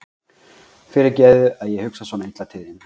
Fyrirgefðu að ég hugsa svona illa til þín.